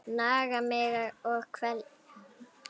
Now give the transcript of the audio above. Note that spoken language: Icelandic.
Naga mig og kvelja.